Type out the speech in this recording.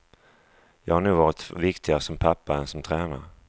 Jag har nog varit viktigare som pappa än som tränare.